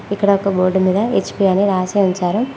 ఇక్కడ ఒక బోర్డు మీద హెచ్_పి అని రాసి ఉంది.